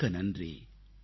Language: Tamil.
மிக்க நன்றி